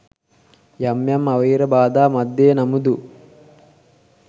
යම් යම් අවහිර බාධා මධ්‍යයේ නමුදු